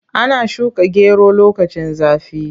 Ana shuka gero lokacin zafi.